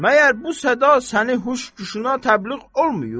Məyər bu səda səni huş güşünə təbliğ olmuyub?